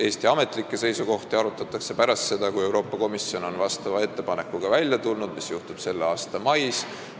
Eesti ametlikke seisukohti arutatakse pärast seda, kui Euroopa Komisjon on vastava ettepanekuga välja tulnud, mis juhtub selle aasta mais.